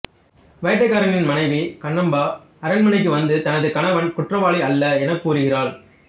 வேட்டைக்காரனின் மனைவி கண்ணாம்பா அரண்மனைக்கு வந்து தனது கணவன் குற்றவாளி அல்ல எனக் கூறுகிறாள்